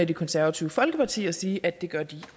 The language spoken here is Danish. det konservative folkeparti og sige at det gør de